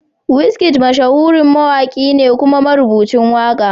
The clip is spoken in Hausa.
Wizkid mashahurin mawaki ne kuma marubuci waka.